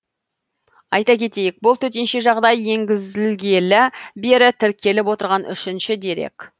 айта кетейік бұл төтенше жағдай енгізілгелі бері тіркеліп отырған үшінші дерек